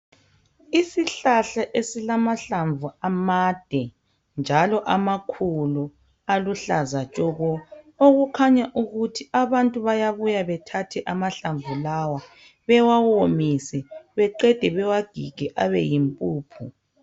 Isihlahla esilamahlamvu amande njalo amakhulu aluhlaza tshoko okukhanya ukuthi abantu bayabuya bethathe amahlamvu lawa bewawomise beqende bawagige abe yimpuphu.